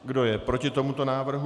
Kdo je proti tomuto návrhu?